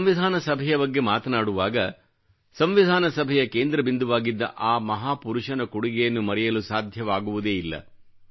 ಸಂವಿಧಾನ ಸಭೆಯ ಬಗ್ಗೆ ಮಾತನಾಡುವಾಗ ಸಂವಿಧಾನ ಸಭೆಯ ಕೇಂದ್ರಬಿಂದುವಾಗಿದ್ದ ಆ ಮಹಾಪುರುಷನ ಕೊಡುಗೆಯನ್ನು ಮರೆಯಲು ಸಾಧ್ಯವಾಗುವುದೇ ಇಲ್ಲ